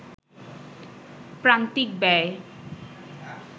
প্রান্তিক ব্যয়